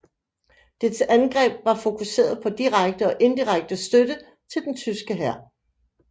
Dets angreb var fokuseret på direkte og indirekte støtte til den tyske hær